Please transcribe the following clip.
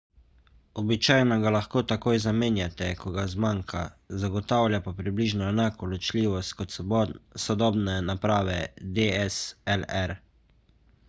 običajno ga lahko takoj zamenjate ko ga zmanjka zagotavlja pa približno enako ločljivost kot sodobne naprave dslr